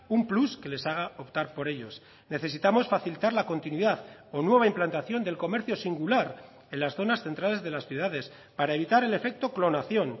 un plus que les haga optar por ellos necesitamos facilitar la continuidad o nueva implantación del comercio singular en las zonas centrales de las ciudades para evitar el efecto clonación